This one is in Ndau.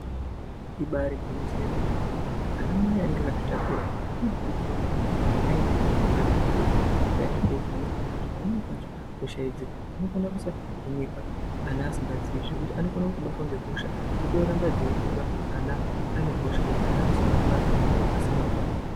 Ibairi gwinyiso ye mene mene ana mai anenge akazvi takura ano kurudzirwa maningi kuti ayende ne ana ku zvibhedhleya kuti ayende ko vhenekwa ngekuti pamweni pacho hosha idzi dzino kona kusa hinika ana asinga zii zvekuti anokona kuto batwa nge hosha dzoto ramba dzei kura ana ane hosha yekuti ana anozo barwa asina hutano.